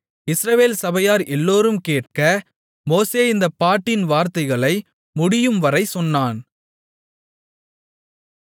இஸ்ரவேல் சபையார் எல்லோரும் கேட்க மோசே இந்தப் பாட்டின் வார்த்தைகளை முடியும்வரை சொன்னான்